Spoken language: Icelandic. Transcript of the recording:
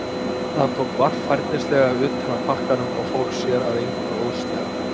Hann tók varfærnislega utan af pakkanum og fór sér að engu óðslega.